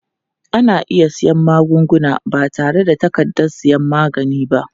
Ana iya siyan magunguna ba tare da takardar sayan magani ba.